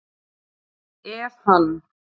Ef hann